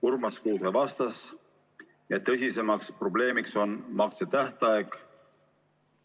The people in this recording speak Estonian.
Urmas Kruuse vastas, et tõsiseim probleem on maksetähtaeg.